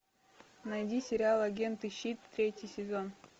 найди сериал агенты щит третий сезон